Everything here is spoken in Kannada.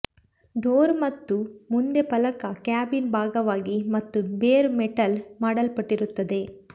ಡೋರ್ ಮತ್ತು ಮುಂದೆ ಫಲಕ ಕ್ಯಾಬಿನ್ ಭಾಗವಾಗಿ ಮತ್ತು ಬೇರ್ ಮೆಟಲ್ ಮಾಡಲ್ಪಟ್ಟಿರುತ್ತದೆ